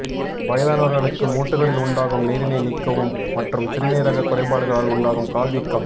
வயதானவர்களுக்கு மூட்டுகளில் உண்டாகும் நீரினை நீக்கவும் மற்றும் சிறுநீரக குறைபாடுகளால் உண்டாகும் கால் வீக்கம்